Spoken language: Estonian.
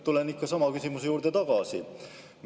Tulen ikka sama küsimuse juurde tagasi.